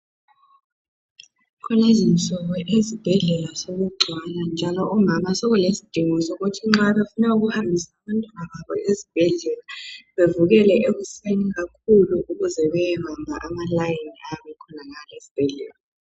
Kulezinsuku ezibhedlela sokugcwala njalo omama sokulesidingo sokuthi nxa befuna ukuhambisa abantwana babo esibhedlela bavukele ekuseni kakhulu ukuze bayebamba amalayini ayabe ekhonangale esbhedlela.